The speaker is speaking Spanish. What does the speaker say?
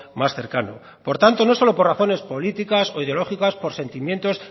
más cercano por tanto no solo por razones políticas o ideológicas por sentimientos